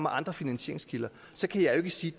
andre finansieringskilder så kan jeg jo ikke sige